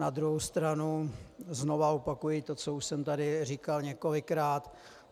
Na druhou stranu znovu opakuji to, co už jsem tady říkal několikrát.